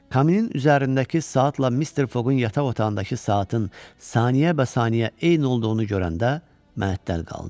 Kaminin üzərindəki saatla Mister Foqqun yataq otağındakı saatın saniyəbəsaniyə eyni olduğunu görəndə mətəl qaldı.